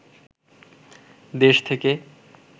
দেশ থেকে